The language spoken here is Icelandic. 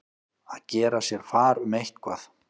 Að gera sér far um eitthvað